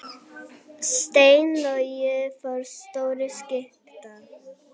Steinn Logi forstjóri Skipta